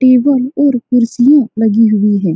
Table और कुर्सियां लगी हुई है।